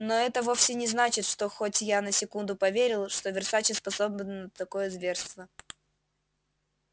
но это вовсе не значит что хоть я на секунду поверил что версаче способен на такое зверство